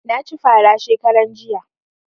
Na ci fara shekaran jiya